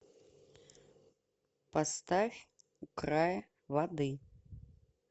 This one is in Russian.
поставь у края воды